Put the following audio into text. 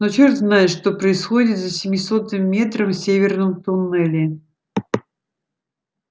но черт знает что происходит за семисотым метром в северном туннеле